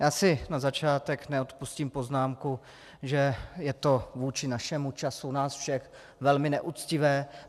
Já si na začátek neodpustím poznámku, že je to vůči našemu času, času nás všech velmi neuctivé.